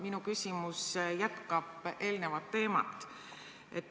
Minu küsimus jätkab eelnevat teemat.